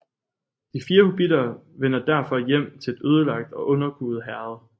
De fire hobbitter vender derfor hjem til et ødelagt og underkuet Herred